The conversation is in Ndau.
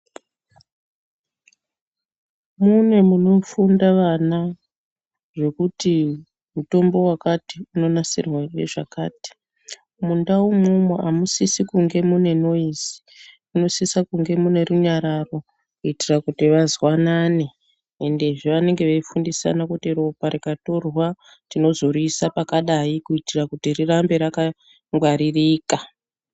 Mune munofunda vana zvekuti mutombo wakati unonasirwa ngezvakati. Mundau umwomwo amusisi kunge muine noizi munosise kunge muine runyararo kuitire kuti vazwanane. Endezve vanenge Veifundisana kuti ropa rikatorwa tinozoriisa pakadayi kuitira kuti rirambe rakangwaririka.